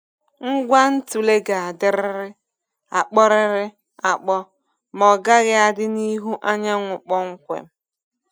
Ngwa ntule ga-adịrịrị akpọrịrị akpọ ma ọgaghị adị n’ihu anyanwụ kpọmkwem.